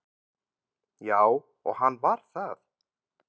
Já, og hann var það.